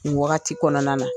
Ni wagati kɔnɔna na.